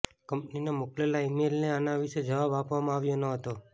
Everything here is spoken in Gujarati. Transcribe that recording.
કંપનીને મોકલેલા ઇમેઇલને આના વિશે જવાબ આપવામાં આવ્યો ન હતો